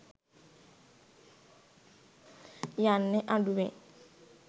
යන්නේ අඩුවෙන්.